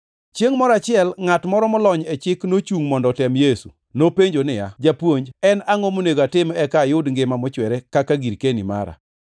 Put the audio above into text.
Chiengʼ moro achiel, ngʼat moro molony e chik nochungʼ mondo otem Yesu, nopenjo niya, “Japuonj, en angʼo monego atim eka ayud ngima mochwere kaka girkeni mara?”